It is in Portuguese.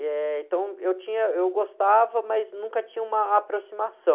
Eh, então, eu tinha, eu gostava, mas nunca tinha uma aproximação.